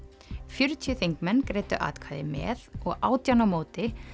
fjörutíu þingmenn greiddu atkvæði með og átján á móti